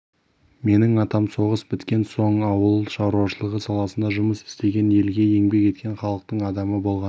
менің атам соғыс біткен соң ауыл шаруашылығы саласында жұмыс істеген елге еңбек еткен халықтың адамы болған